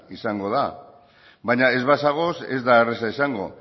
izango da baina ez bazaude ez da erraza izango